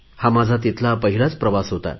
हा माझा तिथला पहिला प्रवास होता